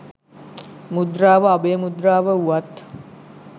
මුද්‍රාව අභය මුද්‍රාව වුවත්